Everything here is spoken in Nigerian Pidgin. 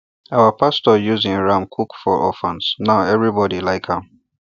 our pastor use him ram cook for orphans now everybody like am